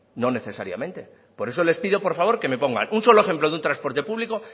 no necesariamente por eso les pido por favor que me pongan un solo ejemplo de un transporte público